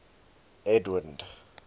edwind